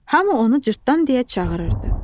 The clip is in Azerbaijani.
Hamı onu Cırtdan deyə çağırırdı.